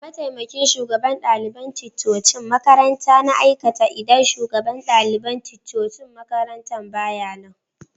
Mataimakin shugaban dalibain ticcocin makaranta na aikata idan shugaban dalibain ticcocin makarantan ba ya nan